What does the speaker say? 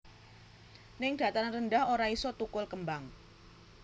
Ning dataran rendah ora iso tukul kembang